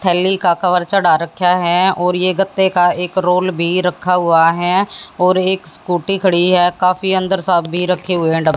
थैली का कवर चढ़ा रखा है और ये गत्ते का एक रोल भी रखा हुआ है और एक स्कूटी खड़ी हुई है काफी अंदर सा भी रखे हुए है डब --